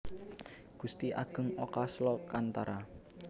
Gusti Agung Oka Slokantara